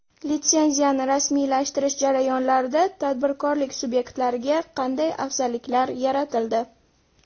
Litsenziyani rasmiylashtirish jarayonlarida tadbirkorlik subyektlariga qanday afzalliklar yaratildi?